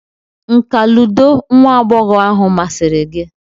nka ludo nwa agbọghọ ahụ masịrị gị?